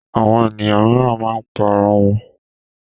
Àwọn ènìyàn mìíràn máa ń pa ara wọn.